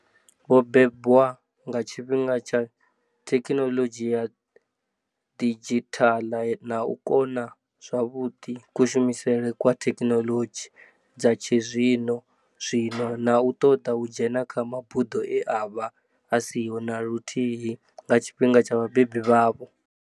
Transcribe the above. Vho bebwa nga tshifhinga tsha thekhinoḽodzhi ya didzhithala na u kona zwavhuḓi kushumisele kwa thekhinoḽodzhi dza tshizwi-nozwino na u ṱoḓa u dzhena kha mabuḓo e a vha a siho na luthi hi nga tshifhinga tsha vhabebi vhavho.